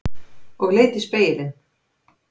Og leit í spegilinn.